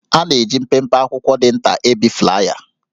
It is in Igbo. A na-eji mpempe akwụkwọ dị nta ebi flaya